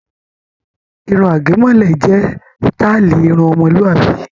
Irun àgẹ̀mọ́lẹ̀ jẹ́ sítáálì irun ọmọlúàbí.